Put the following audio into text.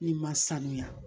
N'i ma sanuya